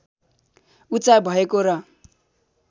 उचाइ भएको र